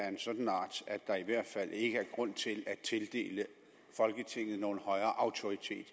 en sådan art at der i hvert fald ikke er grund til at tildele folketinget nogen højere autoritet